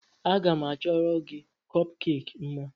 Aga m achọrọ gị kọpkeeki mma.